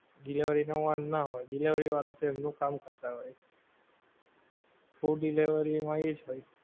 delivery નો વાંક ના હોય, delivery વાળાં તો એમનું કામ કરતાં હોય. food delivery હોય એજ હોય.